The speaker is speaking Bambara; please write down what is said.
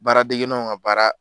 Baara degennaw ka baara